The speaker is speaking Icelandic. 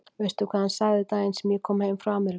Veistu hvað hann sagði daginn sem ég kom heim frá Ameríku?